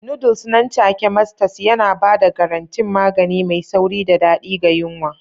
Noodles nan take Masters yana ba da garantin magani mai sauri da daɗi ga yunwa.